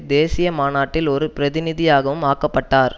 தேசிய மாநாட்டில் ஒரு பிரதிநிதியாகவும் ஆக்கப்பட்டார்